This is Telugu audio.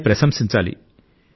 దాన్ని ప్రశంసించాలి